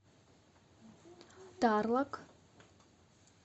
тарлак